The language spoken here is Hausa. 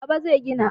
Baba zai gina.